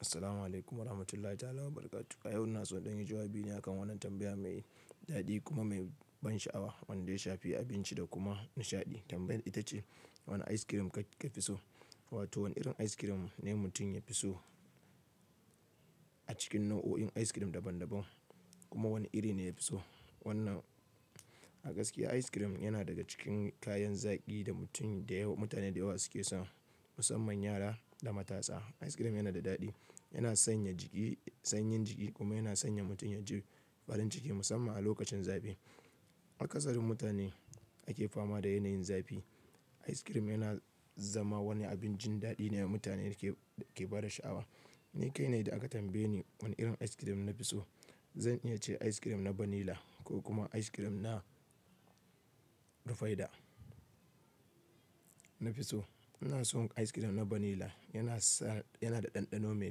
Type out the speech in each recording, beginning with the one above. Assalamu'alaikum warahmatullahi ta'ala wa barakatu. A yau ina so in yi jawabi akan wannan tambaya mai daɗi kuma mai ban sha'awa. Wanda ya shafi abinci da kuma nishaɗi. Tambayar ita ce wane ice cream ka fi so? Wato wane irin ice cream ne mutum ya fi so a cikin nau'o'in ice cream daban daban. Kuma wane iri ne ya fi so. Wannan a gaskiya ice cream yana daga cikin kayan zaki da mutum da yawa, mutane da yawa suke so musamman yara da matasa. Ice cream yana da daɗi, yana sanya jiki sanyin jiki kuma yana sanya mutum yaji farin ciki musamman a lokacin zafi. A ƙasar mu mutane ake fama da yanayin zafi. Ice cream yana zama wani abincin daɗi ne da mutane ke ke bada sha'awa. Ni kai ne da aka tambaye ni wane irin ice cream na fi so. Zan iya ce ice cream na vanilla ko kuma ice cream na rufaiɗa na fi so. Ina son ice cream na vanilla. Yana sa yana da ɗanɗano mai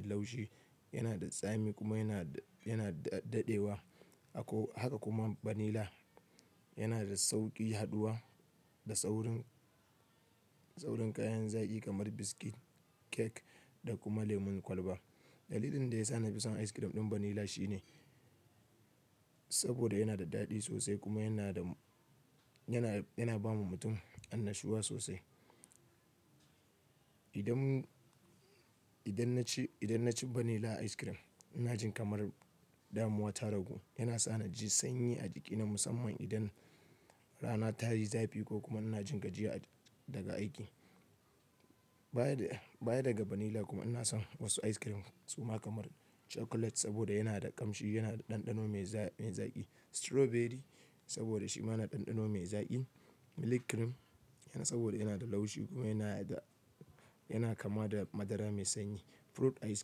laushi, yana da tsami kuma yana yana daɗewa. Haka kuma vanilla yana da sauƙi haduwa da tsaurin tsaurin kayan zaki kamar biskit, kek da kuma lemun kwalba. Dalilin da ya sa na fi son ice cream ɗin vanilla shine saboda yana da daɗi sosai kuma yana da yana yana bawa mutum annashuwa sosai. Idan idan naci idan naci vanilla ice cream ina jin kamar damuwa ta ragu. Yana sa na ji sanyi a jikina musamman idan rana tayi zafi ko kuma ina jin gajiya daga aiki. Bayan baya daga vanilla kuma ina son wasu ice cream kuma kamar chocolate saboda yana da ƙamshi, yana da ɗanɗano mai zaƙi. Strawberry saboda shi ma yana da ɗanɗano mai zaƙi. Milk cream yana saboda yana da laushi kuma yana da yana kama da madara mai sanyi. Fruit ice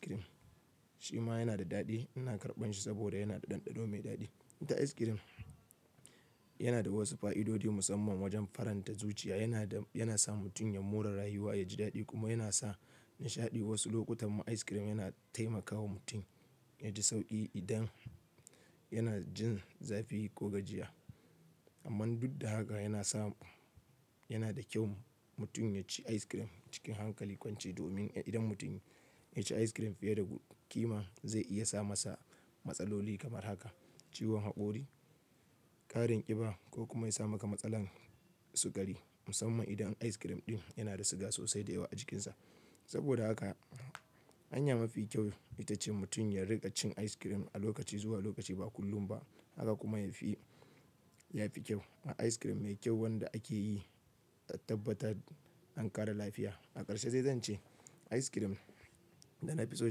cream shi ma yana da daɗi. Ina karɓan shi saboda yana da ɗanɗano mai daɗi. Ina ice cream yana da wasu fa'idodi musamman wajen faranta zuciya. Yana da yana sa mutum ya mura rayuwa, ya ji daɗi kuma yana sa nishaɗi. Wasu lokutan ma ice cream yana taimakawa mutum ya ji sauƙi idan yana jin zafi ko gajiya. Amman duk da haka yana sa yana da kyau mutum ya ci ice cream cikin hankali kwance domin idan mutum ya ci ice cream fiye da ƙima zai iya sa masa matsaloli kamar haka ciwon haƙori, ƙarin ƙiba ko kuma ya sa maka matsalar sukari musamman idan ice cream ɗin yana da siga sosai da yawa a jikinsa. Saboda haka hanya mafi kyau ita ce mutum ya riƙa cin ice cream a lokaci zuwa lokaci ba kullum ba. Haka kuma ya fi ya fi kyau. Ice cream mai kyau wanda ake yi a tabbatar an ƙara lafiya. A ƙarshe zai zan ce ice cream da na fi so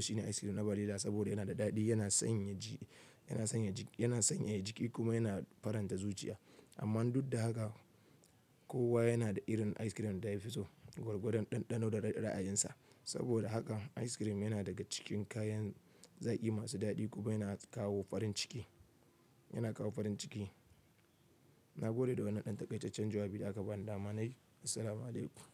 shine ice cream na vanilla saboda yana da daɗi, yana sanya ji yana sanya jiki yana sanyaya jiki kuma yana faranta zuciya. Amma duk da haka kowa yana da irin ice cream da ya fi so gwargwadon ɗanɗano da ra'ayinsa. Saboda haka ice cream yana daga cikin kayan zaki masu daɗi kuma yana kawo farin ciki. Yana kawo farin ciki. Na gode da wannan ɗan takai ta can jawabi da aka bani dama. Nai assalamu alaikum.